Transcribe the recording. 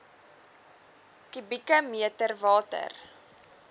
kubieke meter water